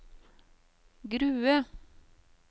Grue